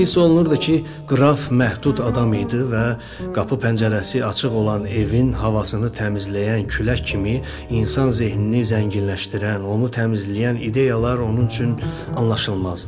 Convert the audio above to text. Hiss olunurdu ki, qraf məhdud adam idi və qapı-pəncərəsi açıq olan evin havasını təmizləyən külək kimi insan zehnini zənginləşdirən, onu təmizləyən ideyalar onun üçün anlaşılmazdı.